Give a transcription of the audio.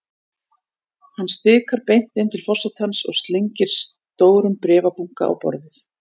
Hann stikar beint inn til forsetans og slengir stórum bréfabunka á borðið.